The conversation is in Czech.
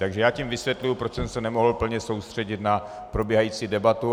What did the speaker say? Takže já tím vysvětluji, proč jsem se nemohl plně soustředit na probíhající debatu.